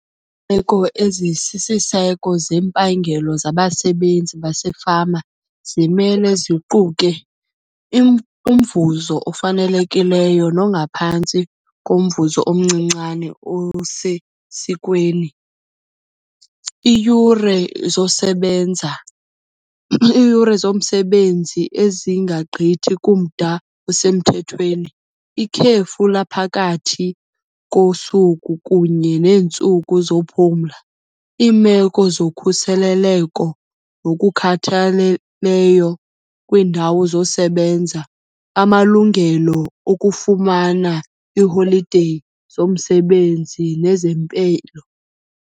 meko ezisisiseko zempangelo zabasebenzi basefama zimele ziquke umvuzo ofanelekileyo nongaphantsi komvuzo omncincane osesikweni. Iiyure zosebenza, iiyure zomsebenzi ezingagqithi kumda osemthethweni, ikhefu laphakathi kosuku kunye neentsuku zophumla. Iimeko zokhuseleleko nokukhathaleleyo kwiindawo zosebenza, amalungelo okufumana ii-holiday zomsebenzi nezempilo.